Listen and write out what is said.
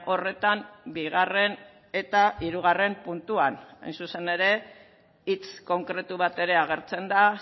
horretan bigarren eta hirugarren puntuan hain zuzen ere hitz konkretu bat ere agertzen da